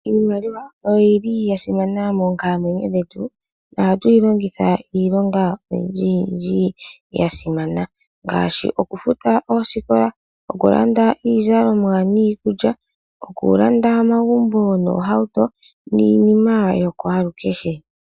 Iimaliwa oyili ya simana moonkalamwenyo dhetu nohatu yi longitha iilonga oyindjiyindji yasimana ngaashi okufuta oosikola okulanda iizalonwa niikulya okulanda omagumbo noohauto niininma yokwaalukehe.